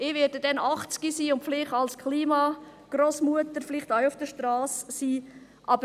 Ich werde dann 80 Jahre alt sein und vielleicht als Klima-Grossmutter ebenfalls auf die Strasse gehen.